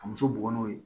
Ka muso bugɔ n'o ye